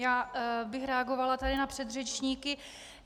Já bych reagovala tady na předřečníky.